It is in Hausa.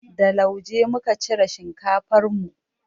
Da lauje muka cire shinkafar mu.